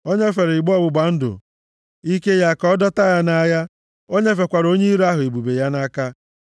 O nyefere igbe ọgbụgba ndụ ike ya ka a dọta ya nʼagha, o nyefekwara onye iro ahụ ebube ya nʼaka.